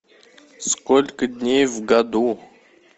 сколько дней в году